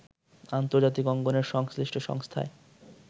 আন্তর্জাতিক অঙ্গনের সংশ্লিষ্ট সংস্থায়